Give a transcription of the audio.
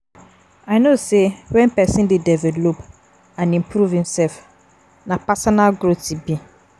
I know say when pesin dey develop and improve imself, na personal growth e be.